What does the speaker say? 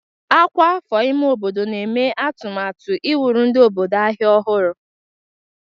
Ọkwa afọ ime obodo na-eme atụmatụ iwuru ndị obodo ahịa ọhụrụ.